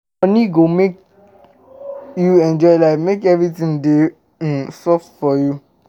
Money go um make you enjoy life make everything dey um soft um for you.